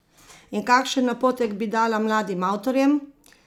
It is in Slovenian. In kakšen napotek bi dala mladim avtorjem?